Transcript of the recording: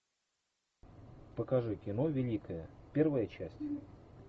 покажи кино великая первая часть